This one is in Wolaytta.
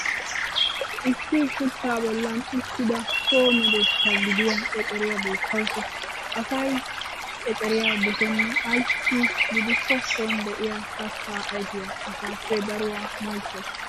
Issi shuchaa bollan uttida so medoossa gidiya eceriya beettawusu. Asay eceriya dosenna ayssi gidikko son de'iyaa kattaa ayfiyaa asaappe daruwaa maychchawusu.